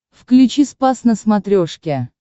включи спас на смотрешке